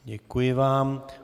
Děkuji vám.